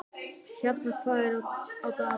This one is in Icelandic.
Hjarnar, hvað er á dagatalinu í dag?